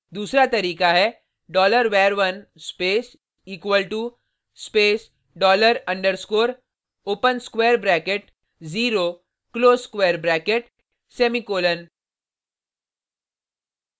दूसरा तरीका है $var1 space = space dollar underscrore open square bracket zero close square bracket semicolon